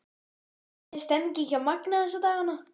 Hvernig er stemningin hjá Magna þessa dagana?